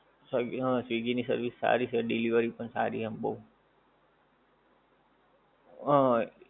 હા swiggy ની service સારી છે delivery પણ સારી એમ બઉ આહ